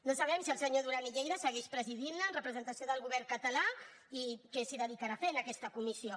no sabem si el senyor duran i lleida segueix presidint la en representació del govern català i què s’hi dedicarà a fer en aquesta comissió